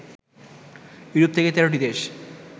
Europe থেকে ১৩ টি দেশ